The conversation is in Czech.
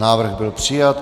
Návrh byl přijat.